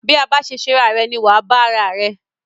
Bí a bá ṣe ṣera rẹ ni wà á bá ara rẹ.